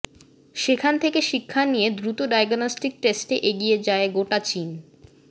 সেখান থেকে শিক্ষা নিয়ে দ্রুত ডায়াগনস্টিক টেস্টে এগিয়ে যায় গোটা চীন